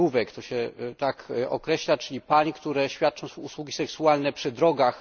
tirówek, to się tak określa, czyli pań, które świadczą usługi seksualne przy drogach.